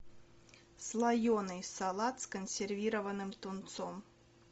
слоенный салат с консервированным тунцом